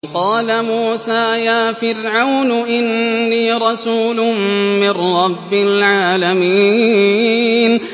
وَقَالَ مُوسَىٰ يَا فِرْعَوْنُ إِنِّي رَسُولٌ مِّن رَّبِّ الْعَالَمِينَ